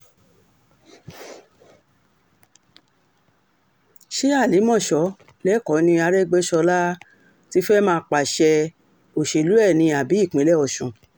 ṣe àlìmọ́so lẹ́kọ̀ọ́ ni àrègbèsọlá um ti fẹ́ẹ̀ máa pàṣẹ um òṣèlú ẹ̀ ni àbí ìpínlẹ̀ ọ̀sùn